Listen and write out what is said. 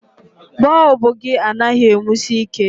Bọlbụ gị anaghị e nwusi ike.